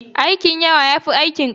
Aikin yawa ya fi aikin ƙarfi.